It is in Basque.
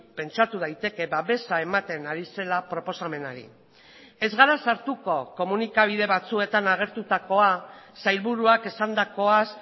pentsatu daiteke babesa ematen ari zela proposamenari ez gara sartuko komunikabide batzuetan agertutakoa sailburuak esandakoaz